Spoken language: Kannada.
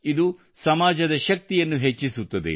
ಇದು ಸಮಾಜದ ಶಕ್ತಿಯನ್ನು ಹೆಚ್ಚಿಸುತ್ತದೆ